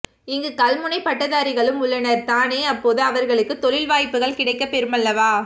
இங்கு கல்முனைப் பட்டதாரிகளும் உள்ளனர் தானே அப்போது அவர்களுக்கும் தொழில் வாய்யப்புக்கள் கிடைக்கப் பெறுமல்லவா